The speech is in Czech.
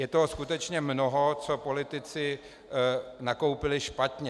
Je toho skutečně mnoho, co politici nakoupili špatně.